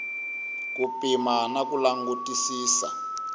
ku pima na ku langutisisa